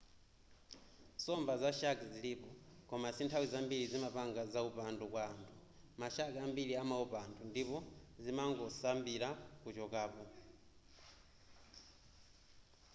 nsomba za shark zilipo koma sinthawi zambiri zimapanga zaupandu kwa anthu ma shark ambiri amaopa anthu ndipo zimangosambira kuchokapo